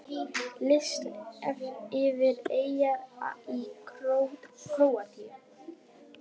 Listi yfir eyjar í Króatíu